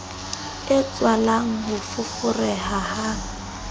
e tswalang ho foforeha ha